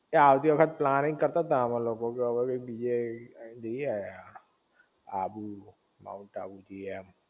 એ આવતી વખત પ્લાનનીગ કરતાં અમે લોકો કે હવ કઈક બીજે કી જાઇ આવીએ અબુ માઉન્ટ અબુજાએ એમ